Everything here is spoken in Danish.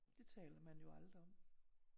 Det taler man jo aldrig om